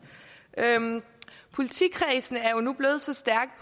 politikredsene er nu blevet så stærke